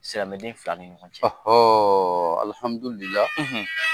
Silamɛden fila ni ɲɔgɔn cɛ. alihamidulila.